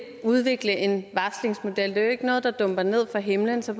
udvikle en varslingsmodel det er ikke noget der dumper ned fra himlen så